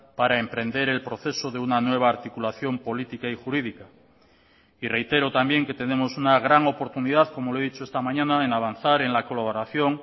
para emprender el proceso de una nueva articulación política y jurídica y reitero también que tenemos una gran oportunidad como le he dicho esta mañana en avanzar en la colaboración